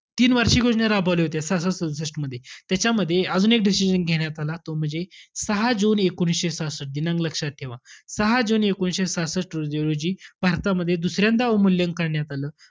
तीन वार्षिक योजना राबवल्या होत्या सदुसष्टमध्ये. त्याच्यामध्ये अजून एक decision घेण्यात आला. तो म्हणजे सहा जून एकोणीसशे सहासष्ट, दिनांक लक्षात ठेवा. सहा जून एकोणीसशे सहासष्ट र~ रोजी भारतामध्ये दुसऱ्यांदा अवमूल्यन करण्यात आलं.